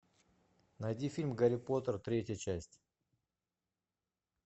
найди фильм гарри поттер третья часть